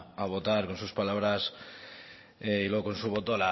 a votar con sus palabras y no con su voto